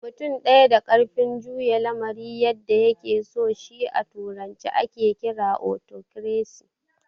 Mutum ɗaya da ƙarfin juya lamari yadda ya ke so shi a turance ake kira " Otokresi"